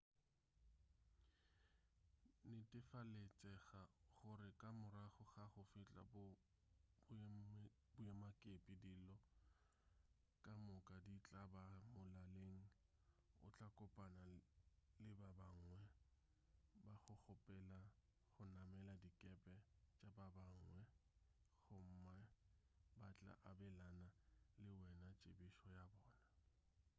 netefaletšega gore ka morago ga go fihla boemakepe dilo ka moka di tla ba molaleng o tla kopana le ba bangwe ba go kgopela go namela dikepe tša babangwe gomme ba tla abelana le wena tsebišo ya bona